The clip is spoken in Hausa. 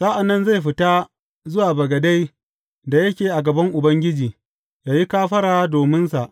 Sa’an nan zai fita zuwa bagade da yake a gaban Ubangiji, yă yi kafara dominsa.